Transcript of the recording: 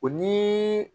O ni